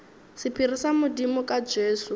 sephiri sa modimo ka jesu